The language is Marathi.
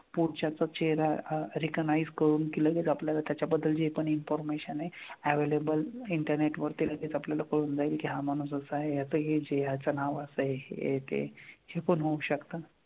पुढच्याचा चेहरा recognize करून की लगेच आपल्याला त्याच्याबद्दल जे पण information आहे available internet वर ते लगेच आपल्याला कळून जाईल की हा माणूस असा आहेयाचं हे जे आहे याचं नाव असं आहे हे की हे पण होऊ शकतं.